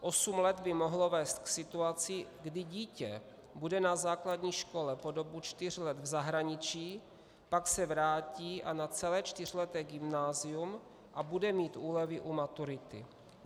Osm let by mohlo vést k situaci, kdy dítě bude na základní škole po dobu čtyř let v zahraničí, pak se vrátí a na celé čtyřleté gymnázium a bude mít úlevy u maturity.